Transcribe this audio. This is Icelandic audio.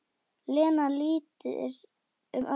Lena lítur um öxl: Hvað?